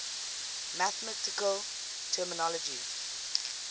mathematical terminology